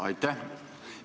Aitäh!